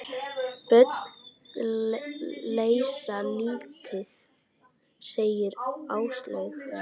Bönn leysa lítið, segir Áslaug.